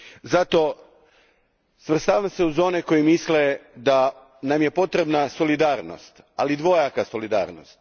Zato, svrstavam se uz one koji misle da nam je potrebna solidarnost, ali dvojaka solidarnost.